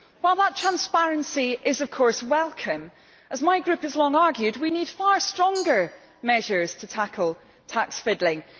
While that transparency is, of course, welcome, as my group has long argued, we need far stronger measures to tackle tax fiddling.